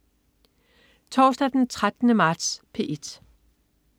Torsdag den 13. marts - P1: